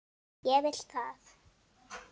Og vill það.